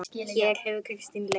Hér hefur Kristín leit.